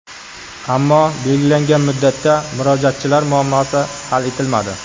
Ammo belgilangan muddatda murojaatchilar muammosi hal etilmadi.